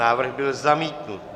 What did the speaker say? Návrh byl zamítnut.